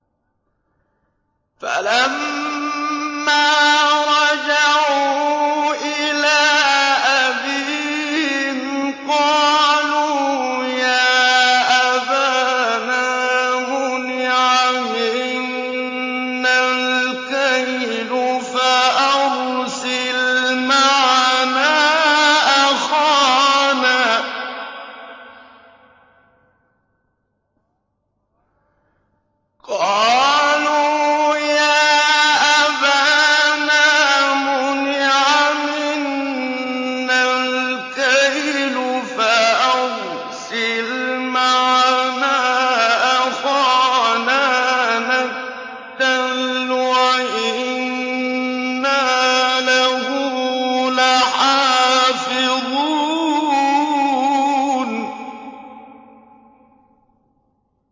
فَلَمَّا رَجَعُوا إِلَىٰ أَبِيهِمْ قَالُوا يَا أَبَانَا مُنِعَ مِنَّا الْكَيْلُ فَأَرْسِلْ مَعَنَا أَخَانَا نَكْتَلْ وَإِنَّا لَهُ لَحَافِظُونَ